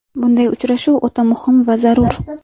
Bunday uchrashuv o‘ta muhim va zarur.